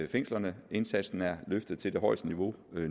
fængslerne indsatsen er løftet til det højeste niveau